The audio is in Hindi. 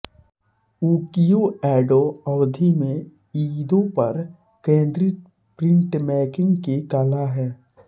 उकीयो एडो अवधि में ईदो पर केंद्रित प्रिंटमेकिंग की कला है